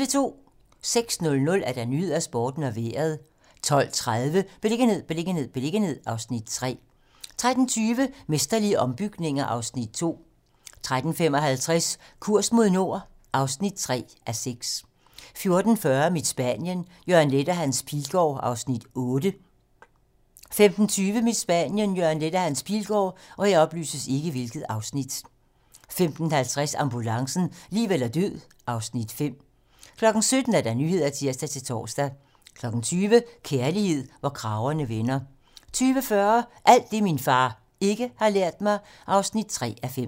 06:00: Nyhederne, Sporten og Vejret 12:30: Beliggenhed, beliggenhed, beliggenhed (Afs. 3) 13:20: Mesterlige ombygninger (Afs. 2) 13:55: Kurs mod nord (3:6) 14:40: Mit Spanien - Jørgen Leth og Hans Pilgaard (Afs. 8) 15:20: Mit Spanien - Jørgen Leth og Hans Pilgaard 15:50: Ambulancen - liv eller død (Afs. 5) 17:00: 17 Nyhederne (tir-tor) 20:00: Kærlighed, hvor kragerne vender 20:40: Alt det, min far ikke har lært mig (3:5)